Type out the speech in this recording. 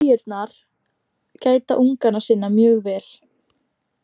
Kríurnar gæta unganna sinna mjög vel.